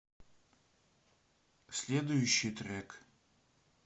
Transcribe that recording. следующий трек